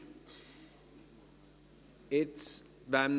Wem darf ich das Wort erteilen?